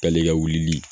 K'ale ka wulili